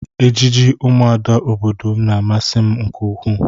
Ejiji ụmụada obodo m na-amasị m nke ukwuu